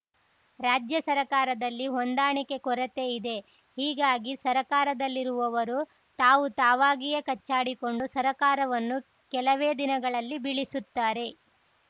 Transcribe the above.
ರಾಜ್ಯ ಸರಕಾರದಲ್ಲಿ ಹೊಂದಾಣಿಕೆ ಕೊರತೆ ಇದೆ ಹೀಗಾಗಿ ಸರಕಾರದಲ್ಲಿರುವವರು ತಾವು ತಾವಾಗಿಯೇ ಕಚ್ಚಾಡಿಕೊಂಡು ಸರಕಾರವನ್ನು ಕೆಲವೇ ದಿನದಲ್ಲಿ ಬೀಳಿಸುತ್ತಾರೆ